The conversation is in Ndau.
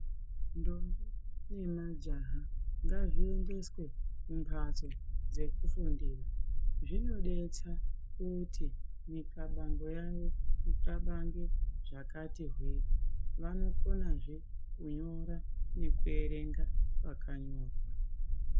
Ndombi nemajaha ngazviendeswe kumhatso dzekufundira. Zvinodetsa kuti mixlabango yavo ixlabange zvakati hwee. Vanokona zvee kunyora ekuerenga pakanyorwa.